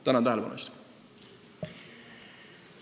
Tänan tähelepanu eest!